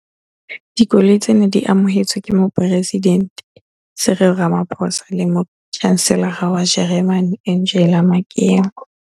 Dikoloi tsena di amohetswe ke Moporesidente Cyril Ramaphosa le Motjhanselara wa Jeremane Angela Merkel.